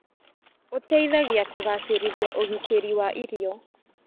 Ũteithagia kũgacĩrithi ũgitĩri wa irio.